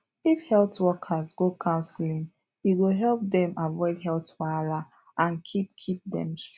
if health workers go counseling e go help dem avoid health wahala and keep keep dem strong